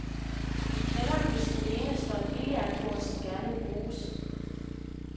I kælderen hos den ene står et billardbord, som gerne må bruges.